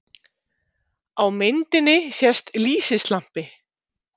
Á myndinni sést lýsislampi.